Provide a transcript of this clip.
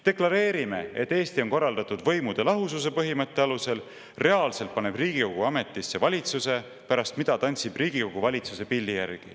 Deklareerime, et Eesti on korraldatud võimude lahususe põhimõtte alusel, reaalselt paneb Riigikogu ametisse valitsuse, pärast mida tantsib Riigikogu valitsuse pilli järgi.